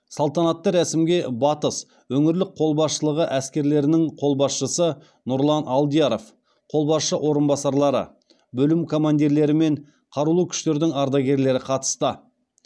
салтанатты рәсімге батыс өңірлік қолбасшылығы әскерлерінің қолбасшысы нұрлан алдияров қолбасшы орынбасарлары бөлім командирлері мен қарулы күштердің ардагерлері қатысты